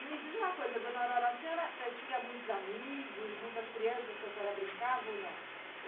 E me diz uma coisa, dona Aurora, a senhora tinha muitos amigos, muitas crianças que a senhora brincava ou não?